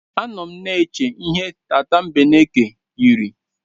Anọ m na-eche ihe tatambeneke yiri.